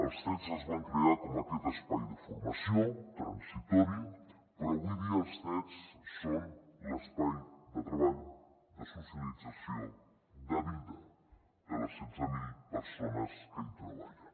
els cets es van crear com aquest espai de formació transitori però avui dia els cets són l’espai de treball de socialització de vida de les setze mil persones que hi treballen